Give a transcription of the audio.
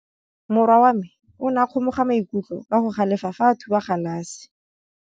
Morwa wa me o ne a kgomoga maikutlo ka go galefa fa a thuba galase.